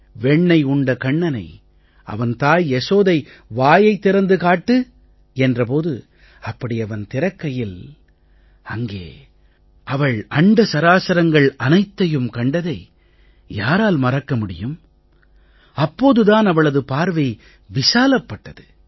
வெண்ணெய் உண்ட கண்ணனை அவன் தாய் யசோதை வாயைத் திறந்து காட்டு என்ற போது அப்படி அவன் திறக்கையில் அங்கே அவள் அண்ட சராசரங்களையும் கண்டதை யாரால் மறக்க முடியும் அப்போது தான் அவளது பார்வை விசாலப் பட்டது